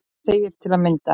segir til að mynda